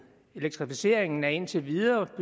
elektrificeringen er indtil videre